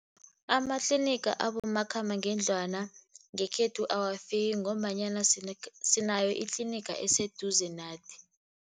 Amatlinigi abomakhambangendlwana ngekhethu awafiki ngombanyana sinayo itlinigi eziseduze nathi.